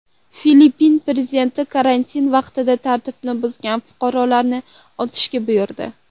Filippin prezidenti karantin vaqtida tartibni buzgan fuqarolarni otishga buyurdi.